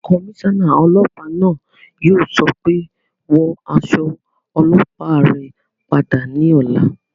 Kọmísọ́nà ọlọ́pàá náà yóò sọ pé "Wọ aṣọ ọlọ́pàá rẹ padà ní ọ̀la